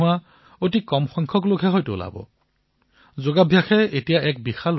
বোধহয় এনেকুৱা স্থান নাই যত মানুহ আছে কিন্তু যোগৰ সৈতে জড়িত হোৱা নাই